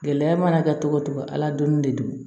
Gɛlɛya mana kɛ cogo o cogo ala donni de don